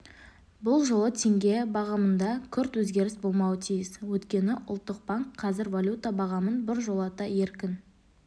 бұл жолы теңге бағамында күрт өзгеріс болмауы тиіс өйткені ұлттық банк қазір валюта бағамын біржолата еркін